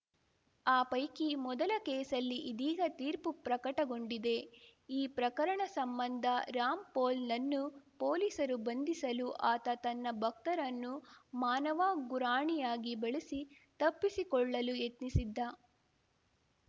ಆ ಪೈಕಿ ಮೊದಲ ಕೇಸಲ್ಲಿ ಇದೀಗ ತೀರ್ಪು ಪ್ರಕಟಗೊಂಡಿದೆ ಈ ಪ್ರಕರಣ ಸಂಬಂಧ ರಾಮ್‌ಪೋಲ್‌ನನ್ನು ಪೊಲೀಸರು ಬಂಧಿಸಲು ಆತ ತನ್ನ ಭಕ್ತರನ್ನು ಮಾನವ ಗುರಾಣಿಯಾಗಿ ಬಳಸಿ ತಪ್ಪಿಸಿಕೊಳ್ಳಲು ಯತ್ನಿಸಿದ್ದ